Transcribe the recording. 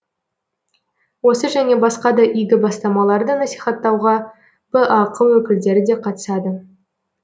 осы және басқа да игі бастамаларды насихаттауға бақ өкілдері де қатысады